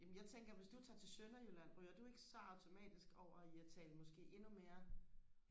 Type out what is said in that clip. jamen jeg tænker hvis du tager til sønderjylland ryger du ikke så automatisk over i og tale måske endnu mere